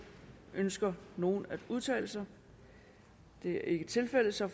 ønsker nogen at udtale sig det er ikke tilfældet og så